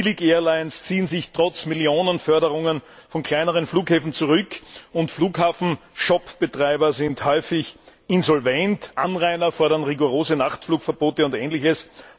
Billig Airlines ziehen sich trotz Millionenförderungen von kleineren Flughäfen zurück und Flughafenshopbetreiber sind häufig insolvent, Anrainer fordern rigorose Nachflugverbote und ähnliches.